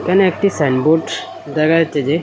এখানে একটি সাইনবোর্ড দেখা যাচ্ছে যে--